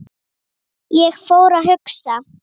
Ég fór að hugsa.